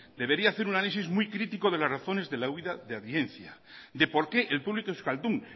debería hacer un análisis muy crítico de las razones de la huída de audiencia de por qué el público euskaldún